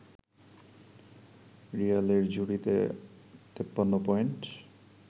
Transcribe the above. রিয়ালের ঝুলিতে ৫৩ পয়েন্ট